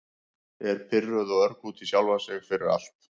Er pirruð og örg út í sjálfa sig fyrir- fyrir allt.